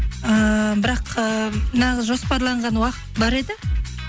ііі бірақ ііі нағыз жоспарланған уақыт бар еді